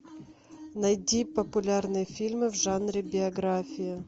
найди популярные фильмы в жанре биография